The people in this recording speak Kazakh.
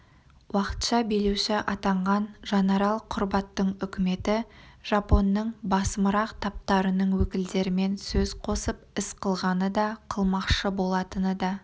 уақытша билеуші атанған жанарал құрбаттың үкіметі жапонның басымырақ таптарының өкілдерімен сөз қосып іс қылғаны да қылмақшы болатыны да